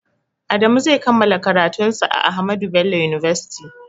Adamu zai kammala karatun sa a ahmadu bello university